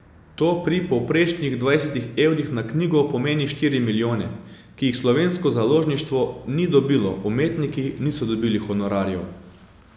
To pri povprečnih dvajsetih evrih na knjigo pomeni štiri milijone, ki jih slovensko založništvo ni dobilo, umetniki niso dobili honorarjev ...